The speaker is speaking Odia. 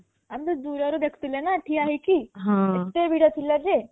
ଆମେ ଭିଡରେ ଦେଖିଥିଲେ ନା ଠିଆ ହେଇକି କେତେ ଦୂରେ ଥିଲେ ଯେ